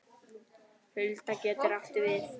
Hulda getur átt við